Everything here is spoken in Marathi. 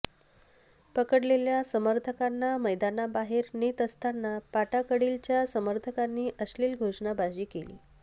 पकडलेल्या समर्थकांना मैदानाबाहेर नेत असताना पाटाकडीलच्या समर्थकांनी अश्लील घोषणाबाजी केली